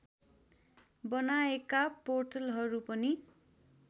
बनाएका पोर्टलहरू पनि